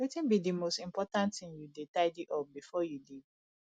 wetin be di most important thing you dey tidy up before you leave